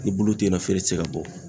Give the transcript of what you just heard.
Ni bulu tɛ yen nɔ, feere tɛ se ka bɔ.